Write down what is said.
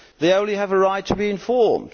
They only have a right to be informed.